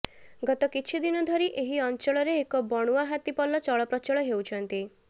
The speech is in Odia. ଗତ କିଛି ଦିନ ଧରି ଏହି ଅଞ୍ଚଳରେ ଏକ ବଣୁଆ ହାତୀ ପଲ ଚଳପ୍ରଚଳ ହେଉଛନ୍ତି